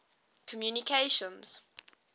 communications